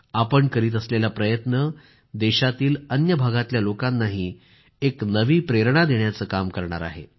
आपण करीत असलेला प्रयत्न देशाच्या अन्य भागातल्या लोकांनाही एक नवी प्रेरणा देण्याचं काम करणार आहे